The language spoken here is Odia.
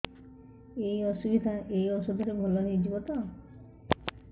ଏଇ ଅସୁବିଧା ଏଇ ଔଷଧ ରେ ଭଲ ହେଇଯିବ ତ